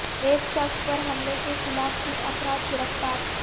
ایک شخص پر حملہ کے خلاف تین افراد گرفتار